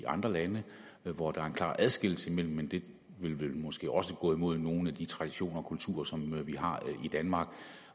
andre lande hvor der er en klar adskillelse men det vil måske også gå imod nogle af de traditioner kultur som vi har i danmark